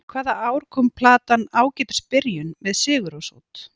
Hvaða ár kom platan Ágætis byrjun, með Sigurrós út?